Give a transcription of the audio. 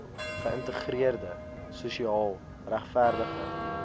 geïntegreerde sosiaal regverdige